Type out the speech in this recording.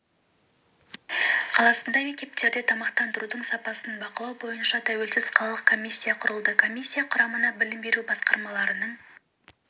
қаласында мектептерде тамақтандырудың сапасын бақылау бойынша тәуелсіз қалалық комиссия құрылды комиссия құрамына білім беру басқармаларының